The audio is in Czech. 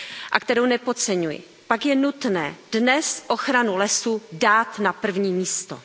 a kterou nepodceňuji, pak je nutné dnes ochranu lesů dát na první místo.